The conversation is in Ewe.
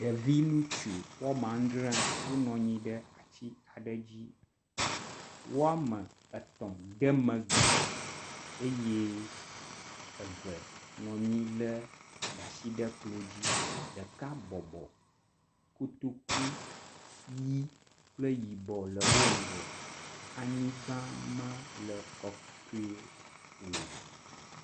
Ɖevi ŋutsu adzre wonɔ anyi ɖe atsi aɖe dzi, wome etɔ̃ ɖeme gli eye womeve nɔa nyi de asi ɖe klo dzi, ɖeka bɔbɔ, kotoku ʋi kple yibɔ le wo ŋgɔ